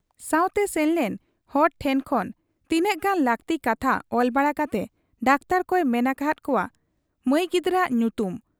ᱥᱟᱶᱛᱮ ᱥᱮᱱᱞᱮᱱ ᱦᱚᱲ ᱴᱷᱮᱫ ᱠᱷᱚᱱᱛᱤᱱᱟᱹᱜ ᱜᱟᱱ ᱞᱟᱹᱠᱛᱤ ᱠᱟᱛᱷᱟ ᱚᱞ ᱵᱟᱲᱟ ᱠᱟᱛᱮ ᱰᱟᱠᱛᱚᱨ ᱠᱚᱭ ᱢᱮᱱ ᱟᱠᱟᱦᱟᱫ ᱠᱚᱣᱟ ᱢᱟᱹᱩ ᱜᱤᱫᱟᱹᱨᱟᱜ ᱧᱩᱛᱩᱢ ᱾